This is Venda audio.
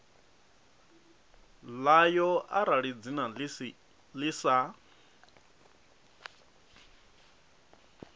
ḽayo arali dzina ḽi sa